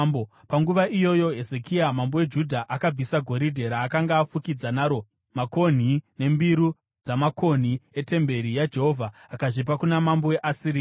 Panguva iyoyo Hezekia mambo weJudha akabvisa goridhe raakanga afukidza naro makonhi nembiru dzamakonhi etemberi yaJehovha, akazvipa kuna mambo weAsiria.